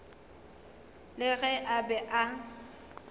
le ge a be a